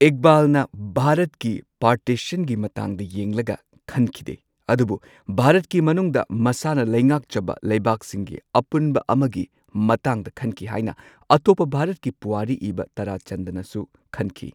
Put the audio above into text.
ꯏꯛꯕꯥꯜꯅ ꯚꯥꯔꯠꯀꯤ ꯄꯥꯔꯇꯤꯁꯟꯒꯤ ꯃꯇꯥꯡꯗ ꯌꯦꯡꯂꯒ ꯈꯟꯈꯤꯗꯦ, ꯑꯗꯨꯕꯨ ꯚꯥꯔꯠꯀꯤ ꯃꯅꯨꯡꯗ ꯃꯁꯥꯅ ꯂꯩꯉꯥꯛꯆꯕ ꯂꯩꯕꯥꯛꯁꯤꯡꯒꯤ ꯑꯄꯨꯟꯕ ꯑꯃꯒꯤ ꯃꯇꯥꯡꯗ ꯈꯟꯈꯤ ꯍꯥꯏꯅ ꯑꯇꯣꯞꯄ ꯚꯥꯔꯠꯀꯤ ꯄꯨꯋꯥꯔꯤ ꯏꯕ ꯇꯥꯔꯥ ꯆꯟꯗꯅꯁꯨ ꯈꯟꯈꯤ꯫